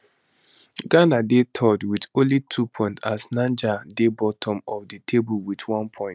ghana dey third wit only 2 points as niger dey bottom of di table wit one point